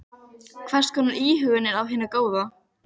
Hvers konar íhugun er af hinu góða.